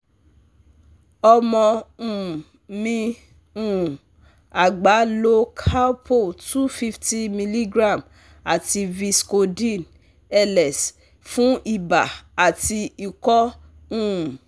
Omo um mi um agba lo Calpol two hundred fifty mg ati Vscodyne - LS fun iba ati iko um